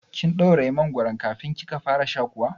Kin ɗauraye mangoron kafin kika fara sha kuwa?